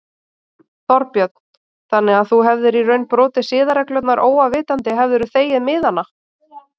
Þorbjörn: Þannig að þú hefðir í raun brotið siðareglurnar óafvitandi hefðirðu þegið miðana?